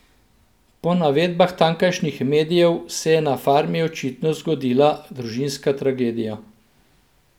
Po navedbah tamkajšnjih medijev se je na farmi očitno zgodila družinska tragedija.